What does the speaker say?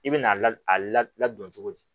I bɛ n'a ladon cogo di